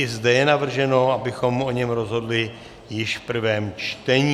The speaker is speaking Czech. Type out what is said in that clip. I zde je navrženo, abychom o něm rozhodli již v prvém čtení.